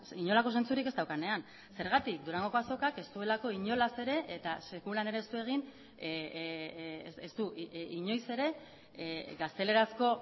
inolako zentzurik ez daukanean zergatik durangoko azokak ez duelako inolaz ere eta sekulan ere ez du egin ez du inoiz ere gaztelerazko